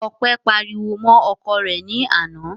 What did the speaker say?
Ọpẹ́ pariwo mọ́ ọkọ rẹ̀ ní àná.